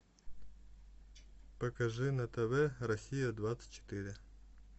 покажи на тв россия двадцать четыре